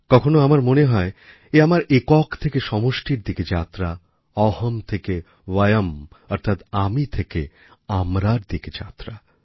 কখনও আমার মনে হয় এ আমার একক থেকে সমষ্টির দিকে যাত্রা অহম্ থেকে বয়ম্ অর্থাৎ আমি থেকে আমরার দিকে যাত্রা